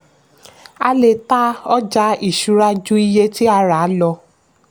a le ta ọjà ìṣúra ju iye tí a rà lọ.